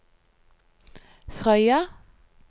Frøya